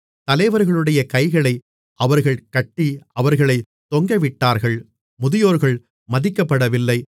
தலைவர்களுடைய கைகளை அவர்கள் கட்டி அவர்களை தொங்கவிட்டார்கள் முதியோர்கள் மதிக்கப்படவில்லை